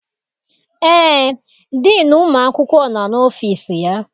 Eé, diinu ụmụ akwụkwọ nọ n'ọfịịsi ya.